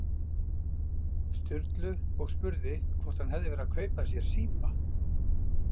Sturlu og spurði hvort hann hefði verið að kaupa sér síma.